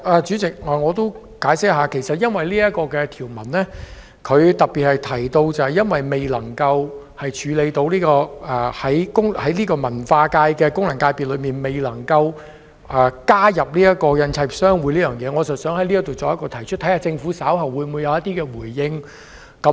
主席，我想解釋一下，由於這項條文特別提到，未能處理在文化界功能界別加入香港印刷業商會，所以我在此提出，看看政府稍後會否回應。